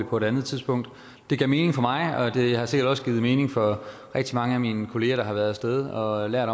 på et andet tidspunkt det gav mening for mig og det har sikkert også givet mening for rigtig mange af mine kolleger der har været af sted og lært